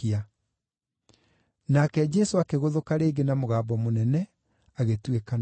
Nake Jesũ akĩgũthũka rĩngĩ na mũgambo mũnene, agĩtuĩkana.